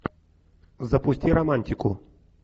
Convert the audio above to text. запусти романтику